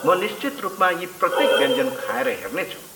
म निश्चित रूपमा यी प्रत्येक व्यञ्जन खाएर हेर्नेछु।